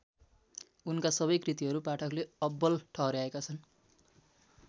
उनका सबै कृतिहरू पाठकले अब्बल ठहर्‍याएका छन्।